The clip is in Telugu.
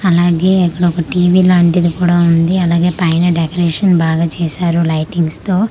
అలాగే ఇక్కడోక టీ_వీ లాంటిది కూడ ఉంది అలాగే పైన డెకరేషన్ బాగా చేసారు లైటింగ్స్ తో .]